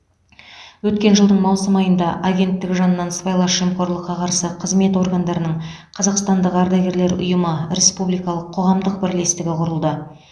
өткен жылдың маусым айында агенттік жанынан сыбайлас жемқорлыққа қарсы қызмет органдарының қазақстандық ардагерлер ұйымы республикалық қоғамдық бірлестігі құрылды